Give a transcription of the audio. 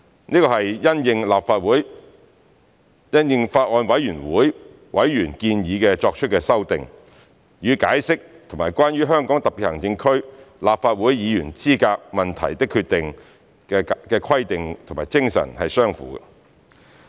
這是因應法案委員會委員建議作出的修訂，與《解釋》及《關於香港特別行政區立法會議員資格問題的決定》的規定和精神相符。